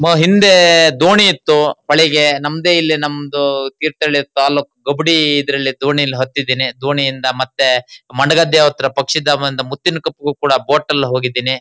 ಹಿಂದೆ ದೋಣಿ ಇತ್ತು ಹೊಳೆಗೆ ನಮ್ದೇ ಇಲ್ಲಿ ನಮ್ದು ತೀರ್ಥಹಳ್ಳಿ ತಾಲ್ಲೂಕ್ ಗೊಬಡೀ ಇದರಲ್ಲಿ ದೋಣಿಯಲ್ಲಿ ಹತ್ತಿದಿನಿ. ದೋಣಿಯಿಂದಾ ಮತ್ತೆ ಮಂಡಗದ್ದೆ ಹತ್ತಿರ ಪಕ್ಷೀಧಾಮ ಅಂತಾ ಒಂದು ಮುತ್ತಿನಕೊಪ್ಪಗೂ ಕೂಡಾ ಬೋಟ್ ಅಲ್ಲಿ ಹೋಗೀದೀನೀ.